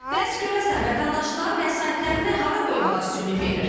Bəs görəsən vətəndaşlar vəsaitlərini hara qoymağa üstünlük verir?